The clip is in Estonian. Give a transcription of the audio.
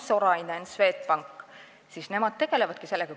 Sorainen ja Swedbank tegelevadki sellega.